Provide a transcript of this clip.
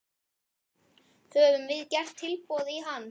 Höfum við gert tilboð í hann?